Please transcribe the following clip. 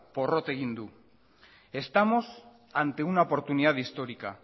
porrot egin du estamos ante una oportunidad histórica